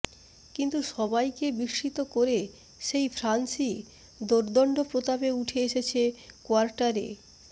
কিন্তু সবাইকে বিস্মিত করে সেই ফ্রান্সই দোর্দণ্ড প্রতাপে উঠে এসেছে কোয়ার্টার